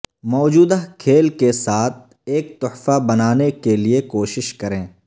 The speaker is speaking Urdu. موجودہ کھیل کے ساتھ ایک تحفہ بنانے کے لئے کوشش کریں